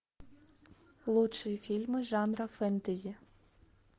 лучшие фильмы жанра фэнтези